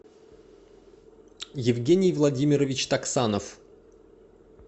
евгений владимирович таксанов